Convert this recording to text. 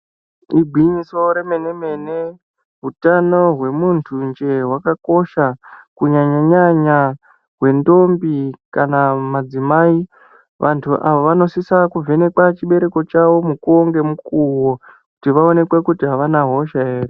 Igwinyiso remene-mene, utano hwemuntu njee hwakakosha kunyanya-nyanya hwendombi kana madzimai. Vantu vanosisa kuvhenekwa chibereko chavo mukuwo nemukuwo kuti vaonekwe kuti havana hosha here.